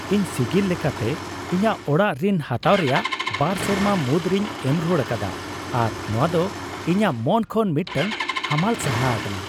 ᱤᱧ ᱥᱤᱜᱤᱞ ᱞᱮᱠᱟᱛᱮ ᱤᱧᱟᱹᱜ ᱚᱲᱟᱜ ᱨᱤᱱ ᱦᱟᱛᱟᱣ ᱨᱮᱭᱟᱜ ᱒ ᱥᱮᱨᱢᱟ ᱢᱩᱫᱨᱮᱧ ᱮᱢ ᱨᱩᱣᱟᱹᱲ ᱟᱠᱟᱫᱟ ᱟᱨ ᱱᱚᱶᱟ ᱫᱚ ᱤᱧᱟᱹᱜ ᱢᱚᱱ ᱠᱷᱚᱱ ᱢᱤᱫᱴᱟᱝ ᱦᱟᱢᱟᱞ ᱥᱟᱦᱟ ᱟᱠᱟᱱᱟ ᱾